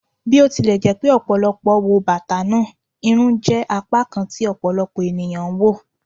Bi o tilẹ jẹ pe ọpọlọpọ wo bata naa, irun jẹ apakan kan ti ọpọlọpọ eniyan n wo